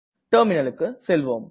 terminalக்கு செல்வோம்